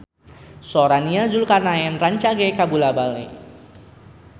Sora Nia Zulkarnaen rancage kabula-bale